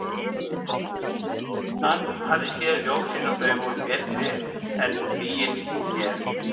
Hann hafði séð ljósin og þau voru betri en lygin úr mér.